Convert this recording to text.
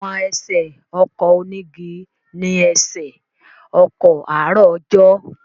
Àwọn ẹsẹ̀ ọkọ̀ onígi ni ẹsẹ̀ ọkọ̀ àárọ̀ ọjọ́.